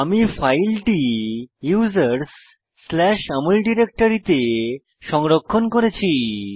আমি ফাইলটি usersAmol ডিরেক্টরিতে সংরক্ষণ করেছি